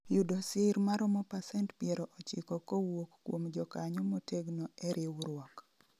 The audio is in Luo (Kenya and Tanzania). yudo sir maromo pasent piero ochiko kowuok kuom jokanyo motegno e riwruok